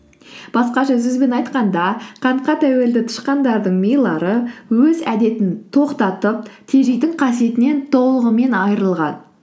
басқаша сөзбен айтқанда қантқа тәуелді тышқандардың милары өз әдетін тоқтатып тежейтін қасиетінен толығымен айырылған